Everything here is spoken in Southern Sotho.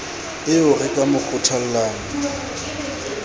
eo re ka mo kgothollang